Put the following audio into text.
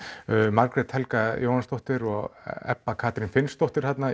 Margrét Helga Jóhannsdóttir og Ebba Katrín Finnsdóttir þarna